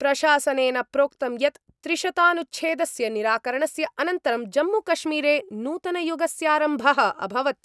प्रशासनेन प्रोक्तं यत् त्रिशतानुच्छेदस्य निराकरणस्य अनन्तरं जम्मूकश्मीरे नूतनयुगस्यारम्भः अभवत्।